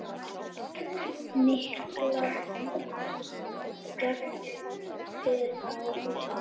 Breki: Miklar skemmdir á húsinu?